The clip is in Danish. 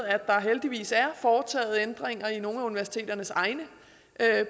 at der heldigvis er foretaget ændringer i nogle af universiteternes egne